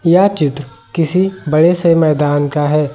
यह चित्र किसी बड़े से मैदान का है।